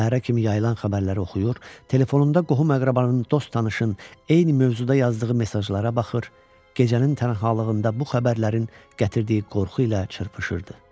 Səhərə kimi yayılan xəbərləri oxuyur, telefonunda qohum-əqrabanın, dost-tanışın eyni mövzuda yazdığı mesajlara baxır, gecənin tənhalığında bu xəbərlərin gətirdiyi qorxu ilə çırpışırdı.